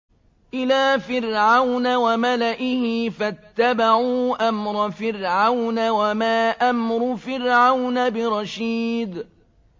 إِلَىٰ فِرْعَوْنَ وَمَلَئِهِ فَاتَّبَعُوا أَمْرَ فِرْعَوْنَ ۖ وَمَا أَمْرُ فِرْعَوْنَ بِرَشِيدٍ